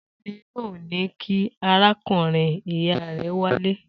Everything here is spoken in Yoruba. Ta ni yóò ní kí arákùnrin-ìyá rẹ wálé?